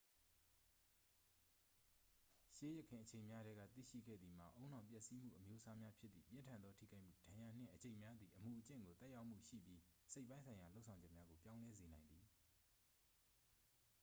ရှေးယခင်အချိန်များထဲက သိရှိခဲ့သည်မှာ ဦးနှောက်ပျက်စီးမှုအမျိုးအစားများဖြစ်သည့် ပြင်းထန်သောထိခိုက်မှု ဒဏ်ရာနှင့် အကျိတ်များသည် အမူအကျင့်ကို သက်ရောက်မှုရှိပြီး စိတ်ပိုင်းဆိုင်ရာလုပ်ဆောင်ချက်များကိုပြောင်းလဲစေနိုင်သည်